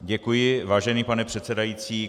Děkuji, vážený pane předsedající.